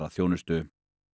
þjónustu